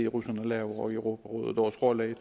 russerne laver i europarådet og vores rolle